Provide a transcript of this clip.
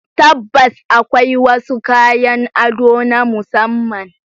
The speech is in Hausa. Tabbas, akwai wasu kayan ado na musamman.